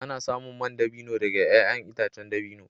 Ana samun man dabino daga ’ya’yan itacen dabino.